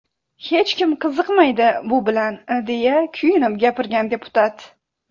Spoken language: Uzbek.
Hech kim qiziqmaydi bu bilan”, deya kuyinib gapirgan deputat.